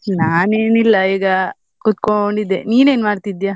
ನಾನ್ ಏನಿಲ್ಲ ಈಗ ಕುತ್ಕೊಂಡಿದ್ದೆ, ನೀನ್ ಏನ್ ಮಾಡ್ತಿದ್ಯಾ?